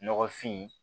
Nɔgɔfin